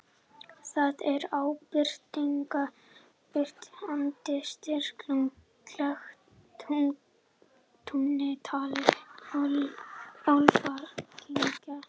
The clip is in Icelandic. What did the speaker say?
Þar er áberandi strýtulaga klettur í túni, talinn álfakirkja.